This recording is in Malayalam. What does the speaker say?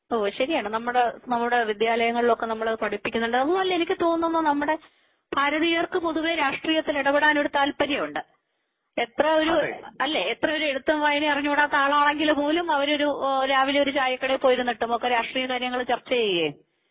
ഓ ശരിയാണ് നമ്മുടെ നമ്മുടെ വിദ്യാലയങ്ങളിൽ ഒക്കെ നമ്മൾ അത് പഠിപ്പിക്കുന്നുണ്ട് അതൊന്നുമല്ല എനിക്ക് തോന്നുന്നു നമ്മുടെ ഭാരതീയർക്ക് പൊതുവേ രാഷ്ട്രീയത്തിൽ ഇടപെടാൻ ഒരു താൽപര്യമുണ്ട് എത്രഒരു അല്ലേ എത്ര ഒരു എഴുത്ത് വായനയും അറിഞ്ഞുകൂടാത്തആൾആണെങ്കില് പോലും അവർ ഒരു രാവിലെ ഒരു ചായ കടയിൽ പോയിരുന്നിട്ട് ഒക്കെ രാഷ്ട്രീയ കാര്യങ്ങൾ ചർച്ച ചെയ്യാ.